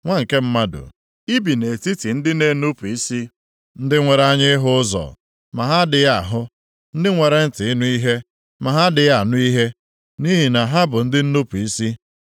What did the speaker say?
“Nwa nke mmadụ, i bi nʼetiti ndị na-enupu isi, ndị nwere anya ịhụ ụzọ ma ha adịghị ahụ; ndị nwere ntị ịnụ ihe ma ha adịghị anụ ihe, nʼihi na ha bụ ndị nnupu isi.